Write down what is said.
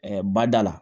bada la